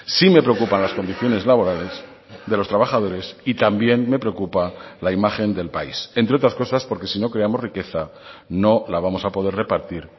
sí me preocupan las condiciones laborales de los trabajadores y también me preocupa la imagen del país entre otras cosas porque si no creamos riqueza no la vamos a poder repartir